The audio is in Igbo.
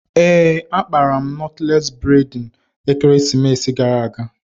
Ee, akpara m nọtles bredna ekeresimesi gara aga